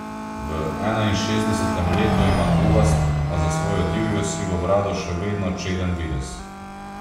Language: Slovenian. V enainšestdesetem letu ima gubast, a za svojo divjo sivo brado še vedno čeden videz.